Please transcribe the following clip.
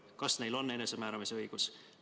Kas neil on enesemääramise õigus?